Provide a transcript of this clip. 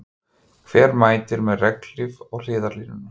Hver mætir með regnhlíf á hliðarlínuna?